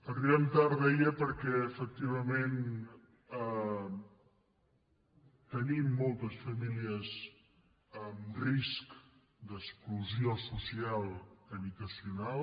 arribem tard deia perquè efectivament tenim moltes famílies en risc d’exclusió social habitacional